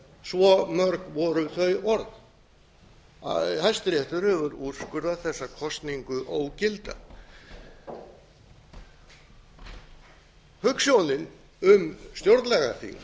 svo mörg voru þau orð hæstiréttur hefur úrskurðað þessa kosningu ógilda hugsjónin um stjórnlagaþing